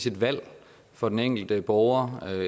et valg for den enkelte borger